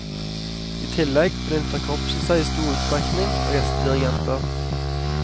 I tillegg benytter korpset seg i stor utstrekning av gjestedirigenter.